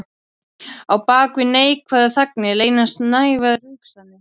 Á bak við neikvæðar þagnir leynast neikvæðar hugsanir.